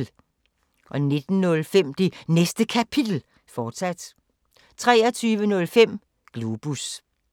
19:05: Det Næste Kapitel, fortsat 23:05: Globus